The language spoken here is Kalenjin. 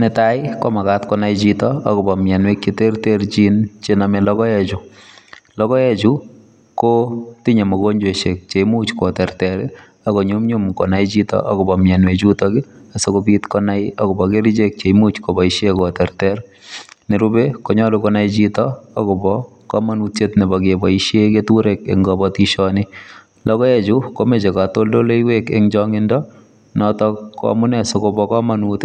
Netai komakat konai Chito akobo mianwek cheterteren chename logoek Chu logoek Chu kotinye mugojwaishek cheimuch koterter akonyor konyumnyumun konai Chito akobo mianwek chuton kobit konai akobo kerchek chimuch kobaishen en koterter ak kit nerube koyache konai Chito akobo kamanutiet Nebo baishen keturek baishoni ba logoek komache katoldoiywek akobo noton amunei sikoba kamanut